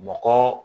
Mɔgɔ